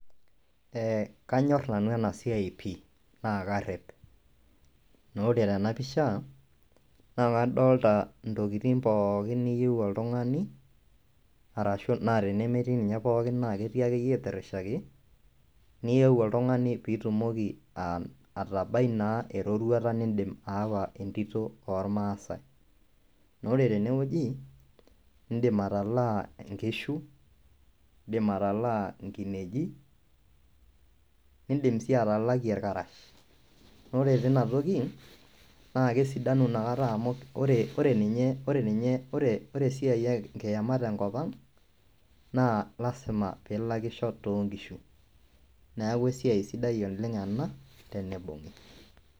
Eeh kanyor nanu ena siai pih naa karep naa ore tena pisha naa kadolita intokitin pooki niyieu oltung'ani arashuu naa tenemetii ninye pooki naa ketii akeyie aitirishaki niyieu oltung'ani piitumoki atabai naa eroruata nindim aawa entito oormaasai naa ore tenewueji indiim atalaa inkishu indiim atalaa inkineji nindiim sii atalakie irkarash naa ore teina toki naa kesidanu inakata amu ore ninye esiai enkiyama tenkop ang naa lazima peeilakisho toonkishu neeku esiai sidai oleng ena teneibung'i.